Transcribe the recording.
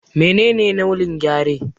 Menene launin Gyare?